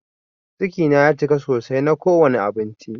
Ciki na ya cika sosai na ko wani abinci.